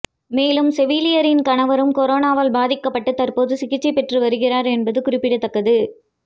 மேலும் செவிலியரின் கணவரும் கொரோனாவால் பாதிக்கப்பட்டு தற்போது சிகிச்சை பெற்று வருகிறார் என்பது குறிப்பிடத்தக்கது